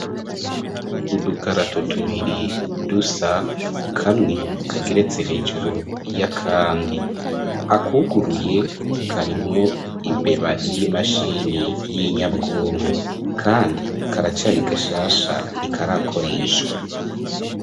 Udukarato tubiri dusa kamwe kageretse hejuru ya, kandi akuguruye karimwo imbeba y'imashini y'inyabwonku, kandi karacari gashasha ntikarakorishwa.